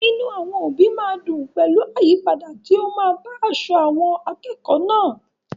Inú àwọn òbí máa dùn pẹ̀lú àyípadà tí ó máa bá aṣọ àwọn akẹ́kọ̀ọ́ náà.